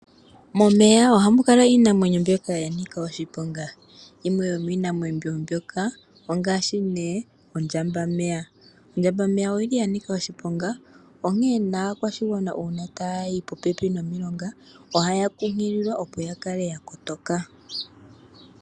Momeya ohamu kala iinamwenyo mbyoka ya nika oshiponga. Yimwe yomiinamwenyi mbyoka ongaashi nee ondjambameya. Ondjambameya oyili yanika oshiponga onkee naakwashigwana ngele tayayi pomilonga ohaa kunkililwa opo ya kale ya kotoka.